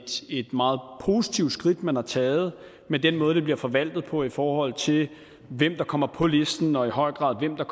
meget positivt skridt man har taget men den måde det bliver forvaltet på i forhold til hvem der kommer på listen og i høj grad hvem der